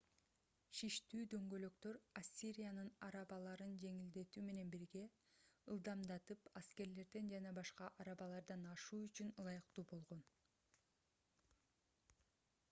шиштүү дөңгөлөктөр ассириянын арабаларын жеңилдетүү менен бирге ылдамдатып аскерлерден жана башка арабалардан ашуу үчүн ылайыктуу болгон